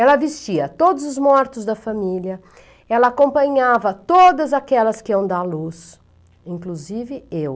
Ela vestia todos os mortos da família, ela acompanhava todas aquelas que iam dar luz, inclusive eu.